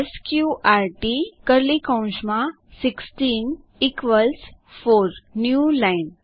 sqrt 16 within curly brackets equals 4 new line